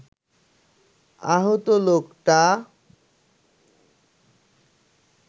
আহত লোকটা